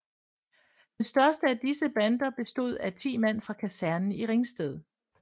Den største af disse bander bestod af ti mand fra kasernen i Ringsted